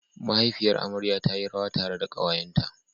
Mahaifiyar amarya ta yi rawa tare da ƙawayenta.